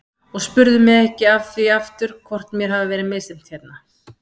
Og spurðu mig ekki að því aftur hvort mér hafi verið misþyrmt hérna.